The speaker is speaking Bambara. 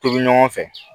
Tobi ɲɔgɔn fɛ